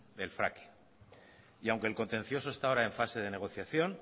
el fracking y aunque el contencioso está ahora en fase de negociación